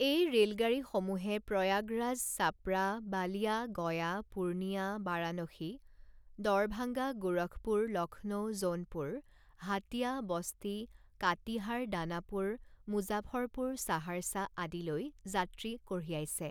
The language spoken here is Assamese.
এই ৰে লগাড়ীসমূহে প্ৰয়াগৰাজ, চাপড়া, বালিয়া, গয়া, পুৰ্ণিয়া, বাৰানসী, ডৰভাঙ্গা, গোৰখপুৰ, লক্ষ্ণৌ, জউনপুৰ, হাটীয়া, বস্তি, কাটিহাৰ, দানাপুৰ, মুজাফৰপুৰ, সাহাৰ্চা আদিলৈ যাত্ৰী কঢ়িয়াইছে।